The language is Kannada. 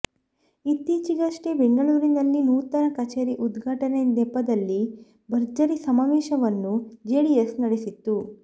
ಇತ್ತೀಚೆಗಷ್ಟೇ ಬೆಂಗಳೂರಿನಲ್ಲಿ ನೂತನ ಕಚೇರಿ ಉದ್ಘಾಟನೆ ನೆಪದಲ್ಲಿ ಭರ್ಜರಿ ಸಮಾವೇಶವನ್ನೂ ಜೆಡಿಎಸ್ ನಡೆಸಿತ್ತು